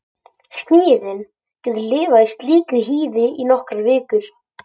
Snigillinn getur lifað í slíku hýði í nokkrar vikur.